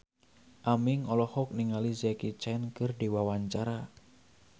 Aming olohok ningali Jackie Chan keur diwawancara